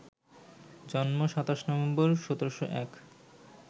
জন্ম ২৭ নভেম্বর, ১৭০১